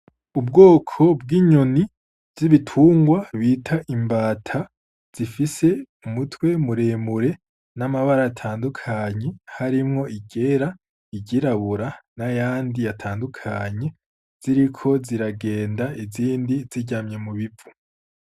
Ubwoko bw'inyoni z'ibitunrwa bita imbata ,zifise umutwe muremure n'amabara atandukanye harimwo iryera, iryirabura n'ayandi atandukanye, ziriko ziragenda ,izindi ziryamye mubivu.